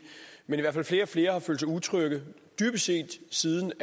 men flere og flere har følt sig utrygge dybest set siden